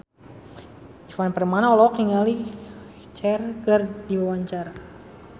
Ivan Permana olohok ningali Cher keur diwawancara